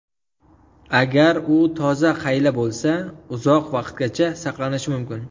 Agar u toza qayla bo‘lsa, uzoq vaqtgacha saqlanishi mumkin.